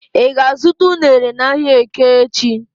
I ga-azuta unere n'ahia eke echi?